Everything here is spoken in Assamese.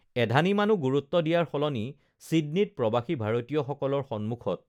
এধানিমানো গুৰুত্ব দিয়াৰ সলনি চিডনীত প্ৰবাসী ভাৰতীয় সকলৰ সন্মুখত